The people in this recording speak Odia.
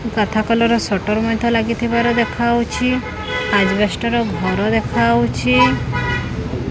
କାଥା କଲର୍ ସଟର୍ ମଧ୍ୟ ଲାଗିଥିବାର ଦେଖାହୋଉଛି ଅଜବେଷ୍ଟ ର ଘର ଦେଖାହୋଉଛି।